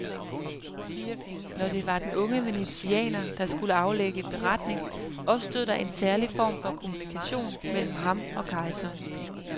Når det var den unge venezianer der skulle aflægge beretning, opstod der en særlig form for kommunikation mellem ham og kejseren.